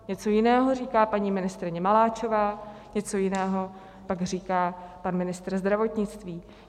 Něco jiného říká paní ministryně Maláčová, něco jiného pak říká pan ministr zdravotnictví.